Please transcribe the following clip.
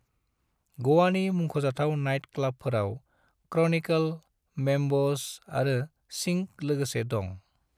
ग'वानि मुंख'जाथाव नाइट क्लबफोराव क्रॉनिकल, मैम्बोस आरो सिंक लोगोसे दं।